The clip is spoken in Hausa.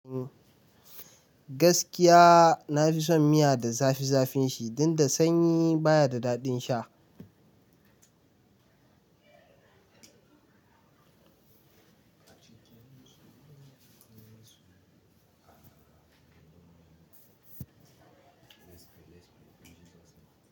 Gaskiya nafi son miya da zafi zafin shi, danda sanyi baya da daɗin sha.